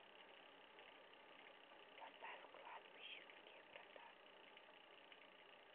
поставь кладбищенские врата